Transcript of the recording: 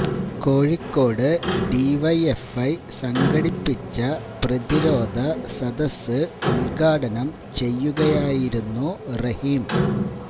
Kozhikode DYFI സംഘടിപ്പിച്ച പ്രതിരോധ സദസ് ഉദ്ഘാടനം ചെയ്യുകയായിരുന്നു റഹീം